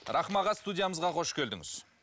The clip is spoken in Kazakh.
рахым аға студиямызға қош келдіңіз